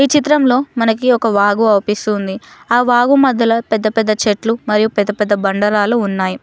ఈ చిత్రంలో మనకి ఒక వాగు అవ్పిస్తూ ఉంది ఆ వాగు మద్దలో పెద్ద పెద్ద చెట్లు మరియు పెద్ద పెద్ద బండ రాళ్ళు ఉన్నాయ్.